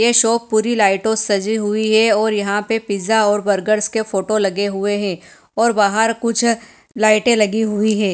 ये शॉप पुरी लाइटों से सजी हुई है और यहां पे पिज्जा और बर्गर के फोटो लगे हुए हैं और बाहर कुछ लाइटें लगी हुई है।